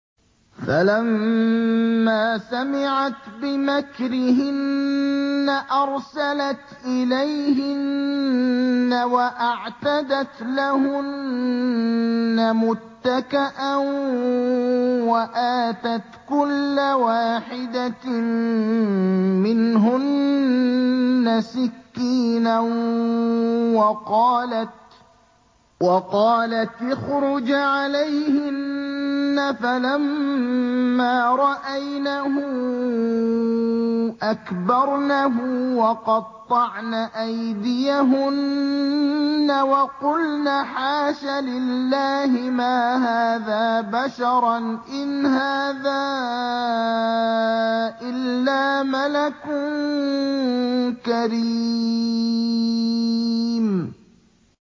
فَلَمَّا سَمِعَتْ بِمَكْرِهِنَّ أَرْسَلَتْ إِلَيْهِنَّ وَأَعْتَدَتْ لَهُنَّ مُتَّكَأً وَآتَتْ كُلَّ وَاحِدَةٍ مِّنْهُنَّ سِكِّينًا وَقَالَتِ اخْرُجْ عَلَيْهِنَّ ۖ فَلَمَّا رَأَيْنَهُ أَكْبَرْنَهُ وَقَطَّعْنَ أَيْدِيَهُنَّ وَقُلْنَ حَاشَ لِلَّهِ مَا هَٰذَا بَشَرًا إِنْ هَٰذَا إِلَّا مَلَكٌ كَرِيمٌ